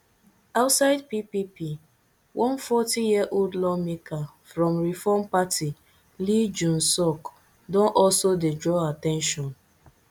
outside ppp one fortyyearold lawmaker from reform party lee junseok don also dey draw at ten tion